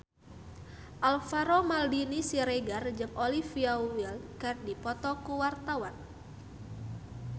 Alvaro Maldini Siregar jeung Olivia Wilde keur dipoto ku wartawan